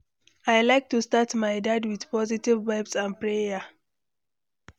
I like to start my day with positive vibes and prayer.